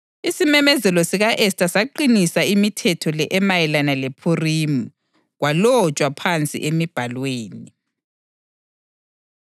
Isimemezelo sika-Esta saqinisa imithetho le emayelana lePhurimi, kwalotshwa phansi emibhalweni.